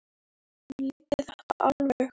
Hann leiddi þetta alveg.